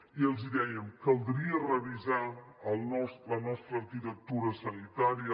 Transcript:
i els dèiem caldria revisar la nostra arquitectura sanitària